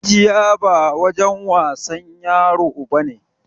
Rijiya ba wurin wasan yaro ba ne!